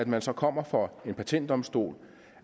man så kommer for en patentdomstol